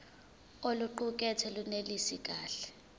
oluqukethwe lunelisi kahle